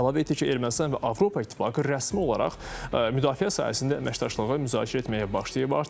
Əlavə etdi ki, Ermənistan və Avropa İttifaqı rəsmi olaraq müdafiə sahəsində əməkdaşlığı müzakirə etməyə başlayıb artıq.